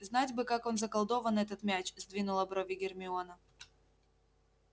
знать бы как он заколдовал этот мяч сдвинула брови гермиона